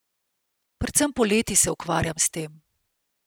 Predvsem poleti se ukvarjam s tem.